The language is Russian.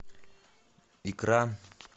икра